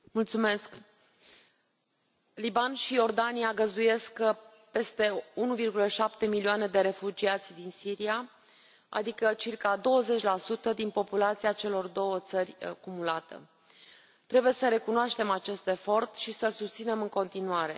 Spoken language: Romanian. Doamnă președintă, Libanul și Iordania găzduiesc peste 1,7 milioane de refugiați din Siria, adică circa 20 din populația celor două țări cumulată. Trebuie să recunoaștem acest efort și să l susținem în continuare.